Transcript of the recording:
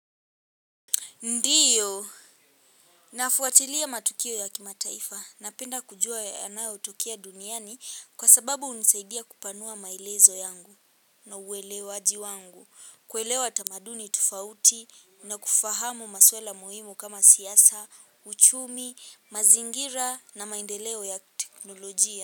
Ndiyo, nafuatilia matukio ya kimataifa, napenda kujua yanayotukia duniani kwa sababu hunisaidia kupanua maelezo yangu na uwelewaji wangu, kuelewa tamaduni tofauti na kufahamu maswala muhimu kama siasa, uchumi, mazingira na maendeleo ya teknolojia.